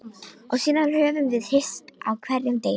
Og síðan höfum við hist á hverjum degi.